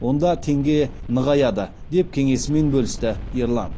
онда теңге нығаяды деп кеңесімен бөлісті ерлан